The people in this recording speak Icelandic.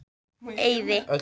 Eiði